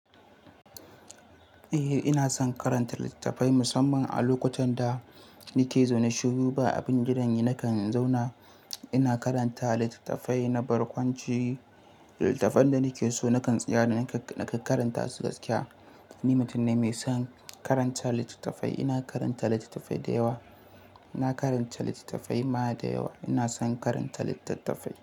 Eh, ina son karanta littattafai musamman a lokutan da nake zaune shiruba, abin gidan nakan zauna ina karanta littattafai na barkwanci. Littattafan da nake so nakan tsaya da nakan karanta su gaskiya. Ni mutum ne mai son karanta littattafai. Ina karanta littattafai da yawa. Ina karanta littattafai ma da yawa. Ina son karanta littattafai.